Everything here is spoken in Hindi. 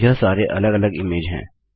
यह सारे अलग अलग इमेज हैं